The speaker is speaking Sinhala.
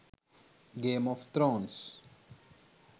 game of thrones